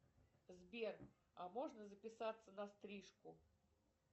сбер а можно записаться на стрижку